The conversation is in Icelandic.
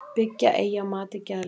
Byggja eigi á mati geðlækna